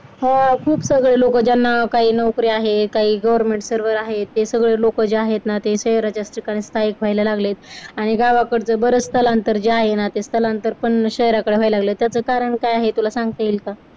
हा. खूप सगळे लोक ज्यांना काही नोकरी आहे. काही government server आहेत ते सगळे लोक जे आहेत ना ते शहराच्या ठिकाणी स्थायिक व्हायला लागले आणि गावाकडचं बरच स्थलांतर जे आहे ना ते स्थलांतर पण शहराकडे व्हायला लागलय. त्याचं कारण काय आहे तुला सांगता येईल का?